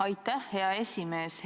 Aitäh, hea esimees!